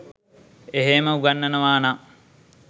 එහේම උගන්වනවා නම්